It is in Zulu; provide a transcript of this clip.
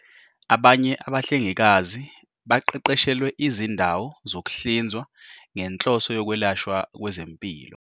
"Abanye abahlengikazi baqeqeshelwe izindawo zokuhlinzwa ngenhloso yokwelashwa kwezempilo."